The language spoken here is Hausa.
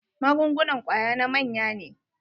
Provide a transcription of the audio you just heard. Magungunan kwaya na manya ne.